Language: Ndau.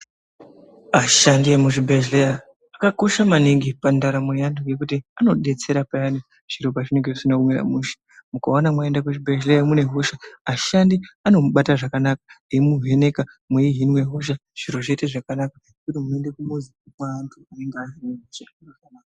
Ashandi emuzvibhehlera akakosha maningi pandaramo yeanhu ngekuti anodetsera payani zviro pazvinenge zvisina kumira mushe mukaona mwaenda kuzvibhehleya mune hosha ashandi anomubate zvakanaka eimuvheneka mweihinwe hosha zviro zvoite zvakanaka ,kwete kuende kumuzi kweanhu asikazi kufundira zveutano.